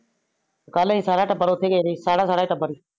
ਕਲ ਏ ਸਾਰਾ ਟੱਬਰ ਓਥੇ ਗਏ ਰਹੇ ਸੀ ਸਾਰਾ ਸਾਰਾ ਟੱਬਰ।